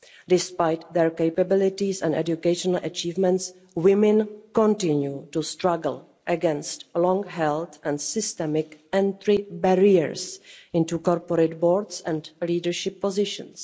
Despite their capabilities and educational achievements, women continue to struggle against long-held and systemic entry barriers onto corporate boards and leadership positions.